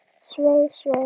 Svei, svei.